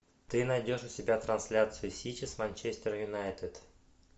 ты найдешь у себя трансляцию сити с манчестер юнайтед